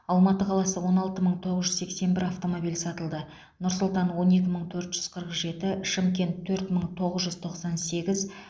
алматы қаласы он алты мың тоғыз жүз сексен бір автомобиль сатылды нұр сұлтан он екі мың төрт жүз қырық жеті шымкент төрт мың тоғыз жүз тоқсан сегіз